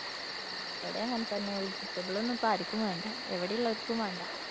ആ ഇവിടേം അങ്ങനെ തന്നെയാ. vegetable ഒന്നും ഇപ്പം ആര്‍ക്കും വേണ്ടാ. ഇവിടെയുള്ളോർക്കും വേണ്ട.